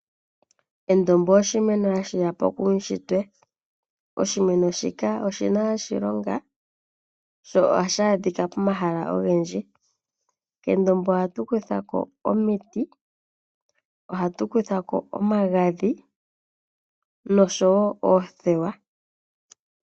Endombo oshimeno ha shi yapo kuushitwe, oshimeno shika oshina oshilonga, sho oha shi adhika pimahala ogendji. Kendombo oha tu kuthako omiti, oha tu kuthako omagadhi, no sho woo oothewa.